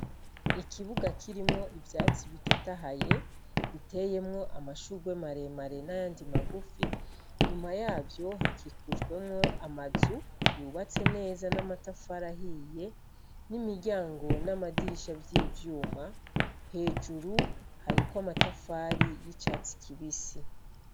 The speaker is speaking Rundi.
Ikibuga kirimwo ivyatsi bitotahaye, biteyemwo amashugwe maremare n'ayandi magufi, nyuma yavyo hakikujwemwo amazu yubatse neza n'amatafari ahiye, n'imiryango n'amadirisha vy'ivyuma, hejuru hariko amatafari y'icatsi kibisi.